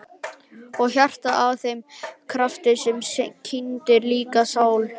Og hjartað að þeim krafti sem kyndir líkama og sál?